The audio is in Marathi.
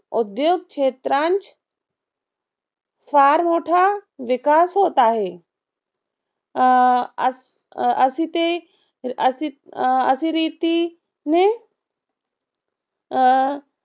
उद्योग क्षेत्रास फार मोठा विकास होत आहे. अस असिते असित असिरीती ने अं